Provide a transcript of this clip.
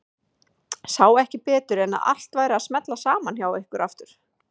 Sá ekki betur en að allt væri að smella saman hjá ykkur aftur.